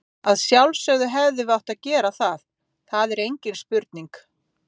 Að sjálfsögðu hefðum við átt að gera það, það er engin spurning.